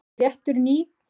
Stóð rétturinn í